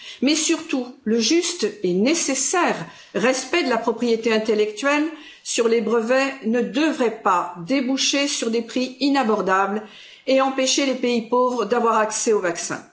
Mais surtout, le juste et nécessaire respect de la propriété intellectuelle sur les brevets ne devrait pas déboucher sur des prix inabordables et empêcher les pays pauvres d'avoir accès au vaccin.